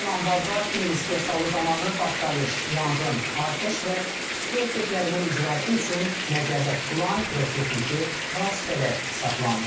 sözügedən anbarda film istehsalı zamanı partlayış, yanğın, atəş və tüstü effektlərinin icrası üçün nəzərdə tutulan pirotexniki vasitələr saxlanılıb.